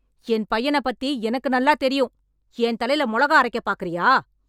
என் பையனப் பத்தி எனக்கு நல்லாத் தெரியும். என் தலையில மொளகா அரைக்கப் பாக்கறியா